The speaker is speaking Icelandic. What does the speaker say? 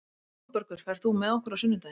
Oddbergur, ferð þú með okkur á sunnudaginn?